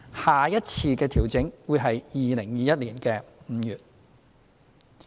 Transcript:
下一次的調整會在2021年5月。